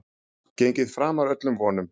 Gengið framar öllum vonum